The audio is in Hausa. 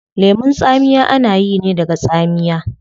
Lemun tsamiya ana yi ne daga tsamiya